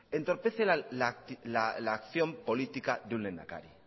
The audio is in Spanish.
entorpece la acción política de un lehendakari